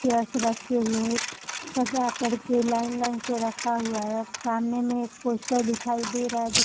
chairs रखे हुए है एक सजा करके लाइन लाइन से रखा हुआ है एक सामने मे एक पोस्टर दिखाई दे रहा है जो --